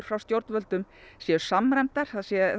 frá stjórnvöldum séu samræmdar